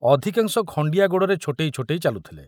ଅଧିକାଂଶ ଖଣ୍ଡିଆ ଗୋଡ଼ରେ ଛୋଟେଇ ଛୋଟେଇ ଚାଲୁଥିଲେ।